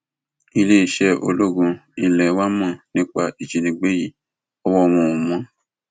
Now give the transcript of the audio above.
iléeṣẹ ológun ilé wa mọ nípa ìwà ìjínigbé yìí ọwọ wọn ò mọ